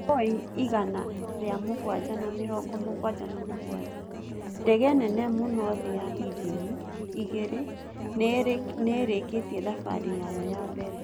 Boeing igana ria mũgwanja na mĩrongo mũgwanja na mũgwanjax:Ndege nene muno thi ya injini igĩre nĩerekĩtie thabarĩ yayo ya mbere